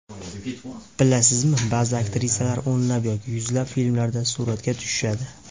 Bilasizmi, ba’zi aktrisalar o‘nlab yoki yuzlab filmlarda suratga tushishadi.